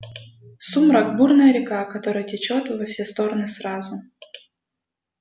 сумрак бурная река которая течёт во все стороны сразу